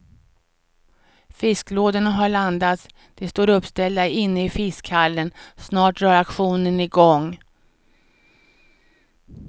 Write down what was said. Fisklådorna har landats, de står uppställda inne i fiskhallen, snart drar auktionen igång.